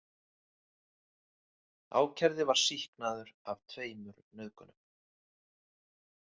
Ákærði var sýknaður af tveimur nauðgunum.